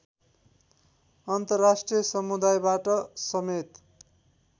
अन्तर्राष्ट्रिय समुदायबाट समेत